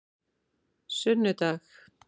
sunnudag